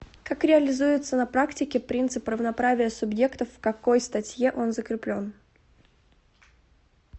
как реализуется на практике принцип равноправия субъектов в какой статье он закреплен